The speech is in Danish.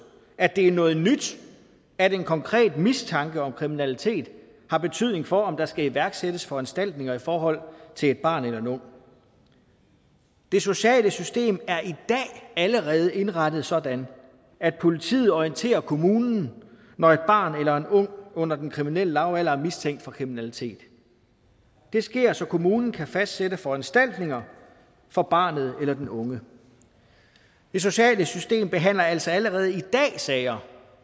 at det er noget nyt at en konkret mistanke om kriminalitet har betydning for om der skal iværksættes foranstaltninger i forhold til et barn eller en ung det sociale system er i dag allerede indrettet sådan at politiet orienterer kommunen når et barn eller en ung under den kriminelle lavalder er mistænkt for kriminalitet det sker så kommunen kan fastsætte foranstaltninger for barnet eller den unge det sociale system behandler altså allerede i dag sager